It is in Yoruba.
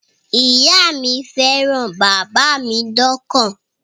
Ìyá mi fẹ́ràn bàbá mi dọ́kàn